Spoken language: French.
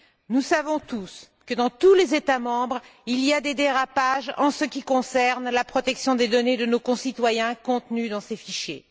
Nous savons tous que dans tous les États membres, il y a des dérapages en ce qui concerne la protection des données de nos concitoyens contenues dans ces fichiers.